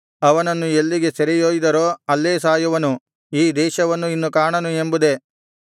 ಅವನನ್ನು ಎಲ್ಲಿಗೆ ಸೆರೆಯೊಯ್ದರೋ ಅಲ್ಲೇ ಸಾಯುವನು ಈ ದೇಶವನ್ನು ಇನ್ನು ಕಾಣನು ಎಂಬುದೇ